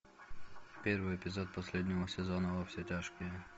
первый эпизод последнего сезона во все тяжкие